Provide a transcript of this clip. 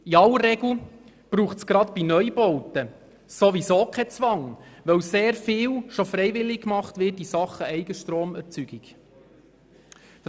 In aller Regel braucht es gerade bei Neubauten sowieso keinen Zwang, weil in Sachen Eigenstromerzeugung bereits sehr viel freiwillig gemacht wird.